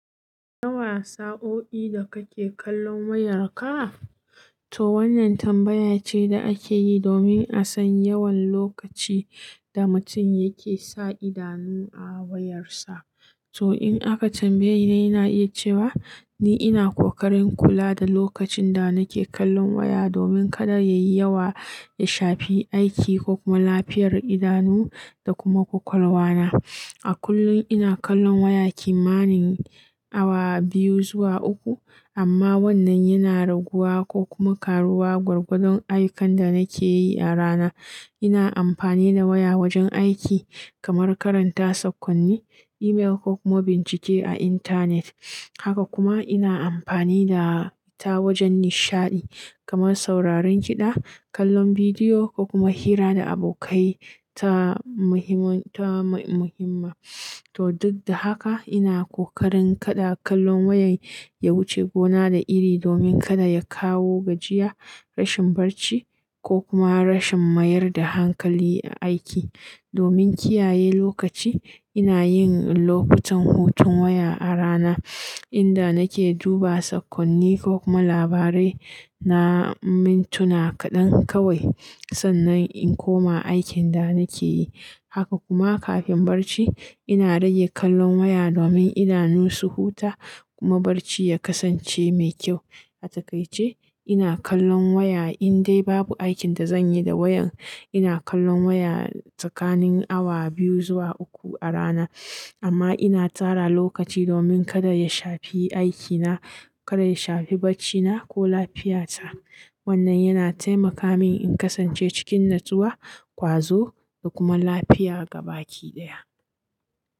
Nawa sa'o'i da kake kallon wayarka? To wannan tambaya ce da ake yi domin a san yawan lokaci da mutum yake sa idanu a wayarsa. To in aka tambaye ni, na iya cewa ni ina ƙoƙarin kula da lokacin da nake kallon waya domin kada yayi yawa ya shafi aiki ko kuma lafiyar idanu da kuma ƙwaƙwalwa na. A kullum ina kallon waya kimanin awa biyu zuwa uku, amma wannan yana raguwa ko kuma ƙaruwa gwargwadon ayyukan da nake yi a rana. Ina amfani da waya wajen aiki kamar karanta saƙonni, email ko kuma bincike a intanet. Haka kuma ina amfani da ita wajen nishaɗi kamar sauraron kiɗa, kallon bidiyo ko kuma hira da abokai ta muhim-ta muhimma. To duk da haka, ina ƙoƙarin kada kallon waya ya wuce gona da iri domin kada ya kawo gajiya, rashin barci ko kuma rashin mayar da hankali a aiki. Domin kiyaye lokaci, ina yin lokutan hutun waya a rana inda nake duba saƙonni ko kuma labarai na mintuna kaɗan kawai sannan in koma aikin da nake yi. Haka kuma kafin barci, ina rage kallon waya domin idanun su huta kuma barci ya kasance mai kyau. A takaice, ina kallon waya indai babu aikin da zanyi da wayan. Ina kallon waya tsakanin awa biyu zuwa uku a rana, amma ina tsara lokaci domin kada ya shafi aikina, kada ya shafi barcina ko lafiyata. Wannan yana taimaka min in kasance cikin natsuwa, ƙwazo da kuma lafiya gaba ɗaya.